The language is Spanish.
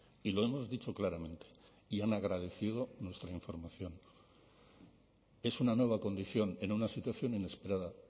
y lo hemos dicho claramente y han agradecido nuestra información es una nueva condición en una situación inesperada